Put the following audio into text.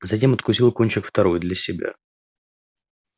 затем откусил кончик второй для себя